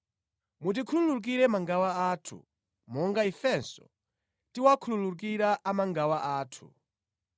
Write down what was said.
Mutikhululukire mangawa athu, monga ifenso tawakhululukira amangawa athu.